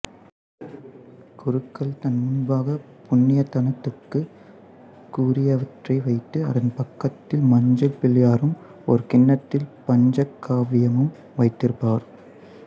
குருக்கள் தன் முன்பாக புண்ணியதானத்திற்குரியவற்றை வைத்து அதன் பக்கத்தில் மஞ்சள் பிள்ளையாரும் ஒரு கிண்ணத்தில் பஞ்சகவ்வியமும் வைத்திருப்பார்